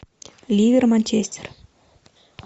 ливер манчестер